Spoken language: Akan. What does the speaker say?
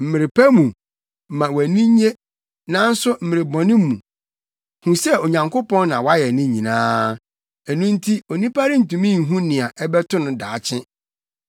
Mmere pa mu, ma wʼani nnye; nanso mmere bɔne mu, hu sɛ Onyankopɔn na wayɛ ne nyinaa. Ɛno nti onipa rentumi nhu nea ɛbɛto no daakye.